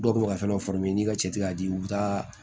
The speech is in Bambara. Dɔw kun bɛ ka fɛn n'i ka cɛ t'a di u bi taa